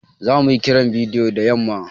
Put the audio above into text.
Zamu yi Kiran bidiyo da yamma.